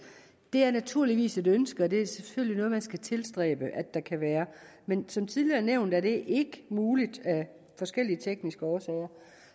det er naturligvis et ønske og det er selvfølgelig noget man skal tilstræbe at der kan være men som tidligere nævnt er det ikke muligt af forskellige tekniske årsager